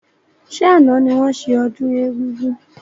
Ṣé àna ni wọn ṣe ọdún egúngún?